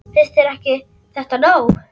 Finnst þér þetta ekki nóg?